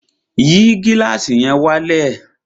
Yìí gílàsì yẹn wálẹ̀!